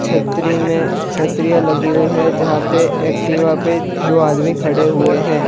छतरी में क्षत्रिया लगी हुई है जहां पे एक्टिव पे दो आदमी खड़े हुए हैं।